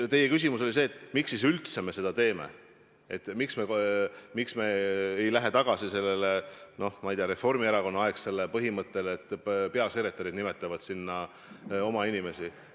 Teie küsimus oli see, miks siis me üldse seda teeme, miks me ei lähe tagasi sellele, ma ei tea, Reformierakonna-aegsele põhimõttele, et peasekretärid nimetavad sinna oma inimesi.